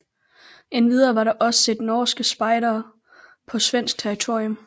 Endvidere var der også set norske spejdere på svensk territorium